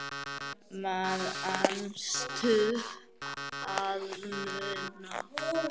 Manstu að muna?